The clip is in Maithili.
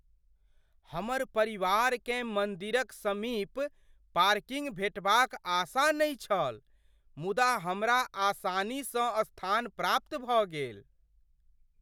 हमर परिवारकेँ मन्दिरक समीप पार्किंग भेंटबाक आशा नहि छल मुदा हमरा आसानीसँ स्थान प्राप्त भऽ गेल।